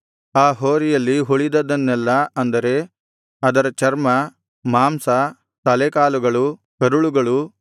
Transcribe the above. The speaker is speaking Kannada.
ಆ ಹೋರಿಯಲ್ಲಿ ಉಳಿದದ್ದನ್ನೆಲ್ಲಾ ಅಂದರೆ ಅದರ ಚರ್ಮ ಮಾಂಸ ತಲೆ ಕಾಲುಗಳು